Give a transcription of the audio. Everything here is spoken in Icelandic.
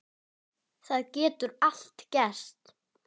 Það getur allt gerst.